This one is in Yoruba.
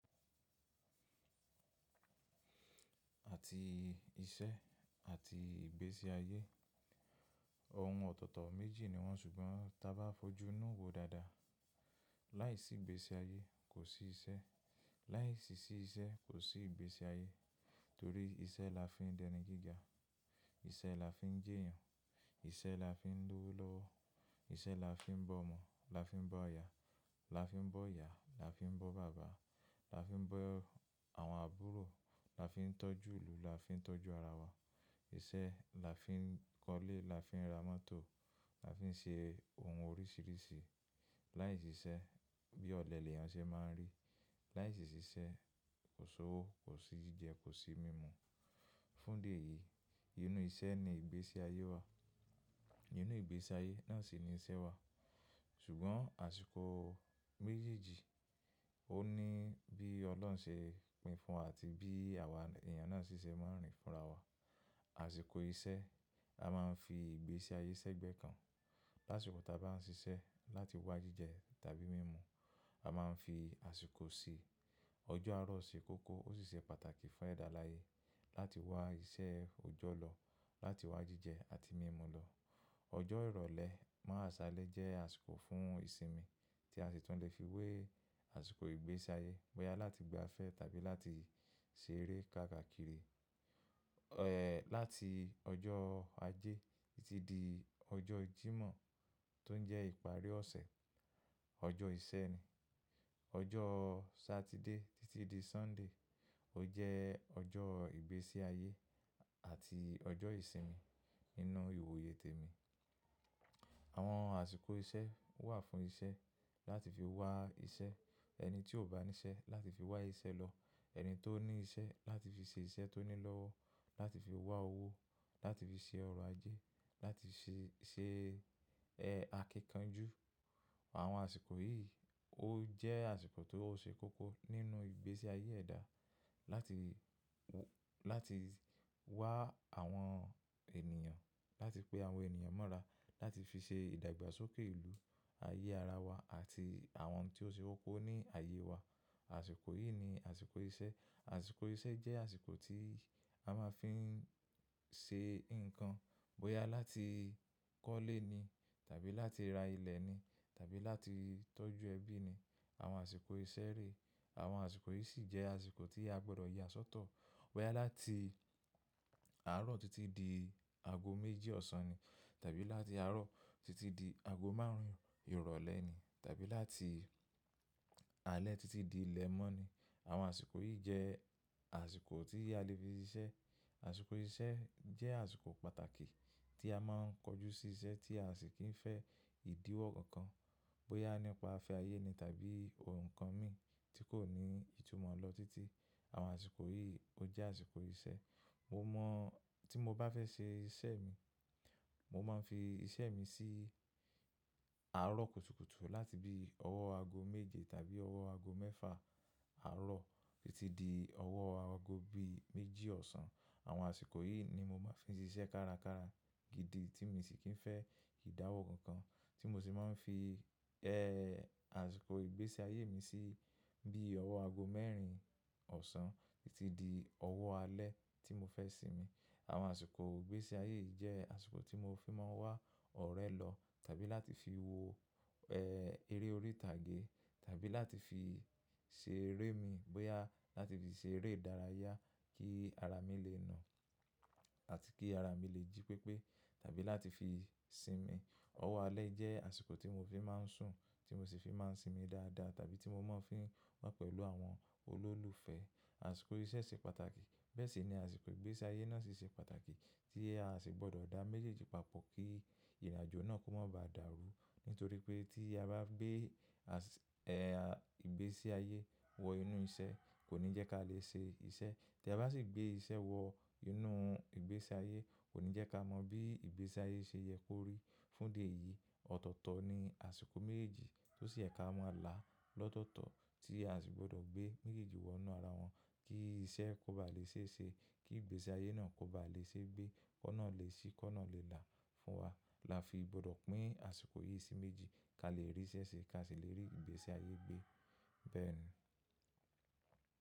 Àti iṣẹ́ àti ìgbésí ayé, ohun ọ̀tọ̀tọ̀ méjì ni wọ́n ṣùgbọ́n ta bá fojú inú wo dáadáa, láìsí ìgbésí ayé kò sí iṣẹ́, láìsí sí iṣẹ́ kò sí ìgbésí ayé. Torí iṣẹ́ la fi ń dẹni gíga, iṣẹ́ la fi ń jí èèyàn, iṣẹ́ la fi ń lọ́wọ́ lọ́wọ́, iṣẹ́ la fi ń bọ́ ọmọ, la fi ń bọ́ aya, la fi ń bọ́ ìyá, la fi ń bọ́ bàbá, la fi ń bọ́ àwọn àbúrò, la fi ń tọ́jú ìlú, la fi ń tọ́jú ara wa. Iṣẹ́ la fi ń kọ́lé, la fi ń ra mọ́tò, la fi ń ṣe ohun oríṣìíríṣìí. Láìsí iṣẹ́ bí ọ̀lẹ lèyàn ṣe máa ń rí. Láìsí iṣẹ́ kò sí owó, kò sí jíjẹ, kò sí mímu. Fún idi eyí, inú iṣẹ́ ni ìgbésí ayé wà, inú ìgbésí ayé náà sì ni iṣẹ́ wà. Ṣùgbọ́n àsìkò méjèèjì ó ní bí Ọlọ́run ṣe pín fun àti bí àwa èèyàn náà ṣíṣe máa ń rìn fún ara wa. Àsìkò iṣẹ́ a máa ń fi ìgbésí ayé sẹ́gbẹ́ kan. Láṣùkù ta bá ń ṣiṣẹ́ láti wá jíjẹ tàbí mímu, a máa ń fi àsìkò sí. Ọjọ́ Ààrọ̀ ṣe kókó ó sì ṣe pàtàkì fún ẹ̀dá láyé láti wá iṣẹ́ òjọ́ lọ, láti wá jíjẹ àti mímu lọ. Ọjọ́ Ìrọ̀lẹ́ mọ́ àsálẹ́ jẹ́ àsìkò fún ìsinmi tí a sì tún lè fi wé àsìkò ìgbésí ayé, bóyá láti gba afẹ́ tàbí láti ṣe eré káàkiri. Ẹ̀ láti ọjọ́ Ajé títí di ọjọ́ Jímọ̀ tó ń jẹ́ ìparí ọ̀sẹ̀, ọjọ́ ìṣẹ́ ni. Ọjọ́ Satide títí di Sunday ó jẹ́ ọjọ́ ìgbésí ayé àti ọjọ́ ìsinmi nínú ìwòye tèmi. Àwọn àsìkò iṣẹ́ wà fún iṣẹ́ láti fi wá iṣẹ́. Ẹni tí ò bá seṣẹ́ láti fi wá iṣẹ́ lọ, ẹni tó ní iṣẹ́ láti fi ṣe iṣẹ́ tó ní lọ́wọ́, láti fi wá owó, láti fi ṣe ọrọ̀ ajé, láti fi ṣe, ṣe ẹ́ akíkanjú. Àwọn àsìkò yìí ó jẹ́ àsìkò tó ṣe kókó nínú ìgbésí ayé ẹ̀dá láti w-- láti wá àwọn ènìyàn, láti pe àwọn ènìyàn mọ́ra, láti fi ṣe ìdàgbàsókè ìlú, ayé ara wa àti àwọn tí ó ṣe kókó ní àyè wa. Àsìkò yìí ni àsìkò iṣẹ́. Àsìkò iṣẹ́ jẹ́ àsìkò tí a máa ń fi ṣe nǹkan, bóyá láti kọ́lé ni tàbí láti ra ilẹ̀ ni tàbí láti tọ́jú ẹbí ni. Àwọn àsìkò iṣẹ́ rè. Àwọn àsìkò yìí sì jẹ́ àsìkò tí a gbọdọ̀ yà sọ́tọ̀, bóyá láti Àárọ̀ títí di ago méjì ọ̀sán ni tàbí láti Àárọ̀ títí di ago márùn-ún ìrọ̀lẹ́ tàbí láti Alẹ títí di ilẹ̀ mọ́ ni. Àwọn àsìkò yìí jẹ́ àsìkò tí a lè fi ṣiṣẹ́. Àsìkò iṣẹ́ jẹ́ àsìkò pàtàkì tí a máa ń kojú sí iṣẹ́ tí a sì kì í fẹ́ ìdíwọ́ kankan, bóyá nípa afẹ́ ayé ni tàbí ohun kan mì tí kò ní ìtumọ̀ lọ títí. Àwọn àsìkò yìí ó jẹ́ àsìkò iṣẹ́. Mo mọ̀ tí mo bá fẹ́ ṣe iṣẹ́ mi, mo máa ń fi iṣẹ́ mi sí Àárọ̀ kùtùkùtù láti bí ọwọ́ ago méje tàbí ọwọ́ ago mẹ́fà Àárọ̀ títí di ọwọ́ ago bí i méjì ọ̀sán. Àwọn àsìkò yìí ni mo máa ń fi ṣiṣẹ́ kárakára gidi tí mo sì kì í fẹ́ ìdáwọ́ kankan tí mo sì máa ń fi ẹ́ àsìkò ìgbésí ayé mi sí bí ọwọ́ ago mẹ́rin ọ̀sán títí di ọwọ́ Alẹ tí mo fẹ́ sinmi. Àwọn àsìkò ìgbésí ayé yìí jẹ́ àsìkò tí mo fi máa ń wá ọ̀rẹ́ lọ tàbí láti fi wo ẹ́ eré orí ìtàgé tàbí láti fi ṣe eré mi, bóyá láti fi ṣe eré ìdárayá kí ara mi lè nà àti kí ara mi lè jí pépé tàbí láti fi sinmi. Ọwọ́ Alẹ jẹ́ àsìkò tí mo fi máa ń sùn tí mo sì fi máa ń sinmi dáadáa tàbí tí mo máa ń fi wà pẹ̀lú àwọn olólùfẹ́. Àsìkò iṣẹ́ ṣe pàtàkì bẹ́ẹ̀ sì ni àsìkò ìgbésí ayé náà sì ṣe pàtàkì tí ẹ a sì gbọdọ̀ dá méjèèjì papọ̀ kí ìrìnàjò náà kó má ba dàrú. Nítorí pé tí a bá gbé àsì-- ẹ́ à ìgbésí ayé wọ inú iṣẹ́ kò ní jẹ́ kí a lè ṣe iṣẹ́. Tí a bá sì gbé iṣẹ́ wọ inú ìgbésí ayé kò ní jẹ́ kí a mọ bí ìgbésí ayé ṣe yẹ kó rí. Fún dé yìí ọ̀tọ̀ọ̀tọ̀ ni àsìkò méjèèjì tó sì yẹ kí a máa là lọ́tọ̀ọ̀tọ̀ tí a sì gbọdọ̀ gbé méjèèjì wọ inú ara wọn kí iṣẹ́ kó bá lè ṣe é ṣe, kí ìgbésí ayé náà kó bá lè ṣe é gbé, kọ́ náà lè ṣí, kọ́ náà lè là fún wa. La fi gbọdọ̀ pín àsìkò yìí sí méjì kí a lè rí iṣẹ́ ṣe kí a sì lè rí ìgbésí ayé gbé bẹ́ẹ̀ ni.